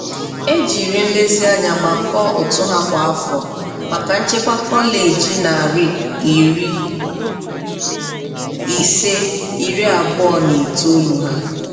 Ejiri nlezianya gbakọọ ụtụ ha kwa afọ maka nchekwa kọleji narị iri ise, iri abụọ na itoolu ha.